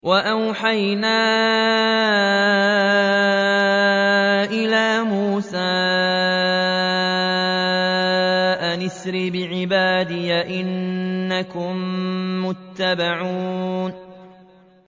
۞ وَأَوْحَيْنَا إِلَىٰ مُوسَىٰ أَنْ أَسْرِ بِعِبَادِي إِنَّكُم مُّتَّبَعُونَ